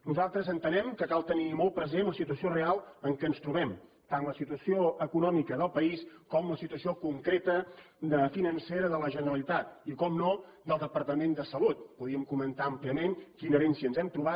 nosaltres entenem que cal tenir molt present la situació real en què ens trobem tant la situació econòmica del país com la situació concreta financera de la generalitat i naturalment del departament de salut podríem comentar àmpliament quina herència ens hem trobat